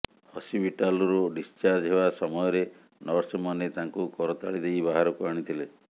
ହସ୍ପିଟାଲରୁ ଡିସଚାର୍ଜ ହେବା ସମୟରେ ନର୍ସମାନେ ତାଙ୍କୁ କରତାଳି ଦେଇ ବାହାରକୁ ଆଣିଥିଲେ